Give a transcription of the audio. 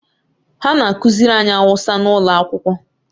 Ha na-akụziri anyị Awụsa n'ụlọ akwụkwọ